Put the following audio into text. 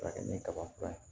Fara kɛ ni kaba fura ye